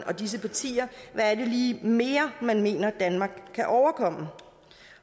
og disse partier hvad mere man mener at danmark kan overkomme